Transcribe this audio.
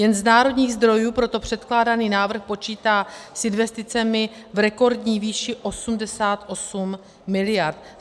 Jen z národních zdrojů proto předkládaný návrh počítá s investicemi v rekordní výši 88 miliard.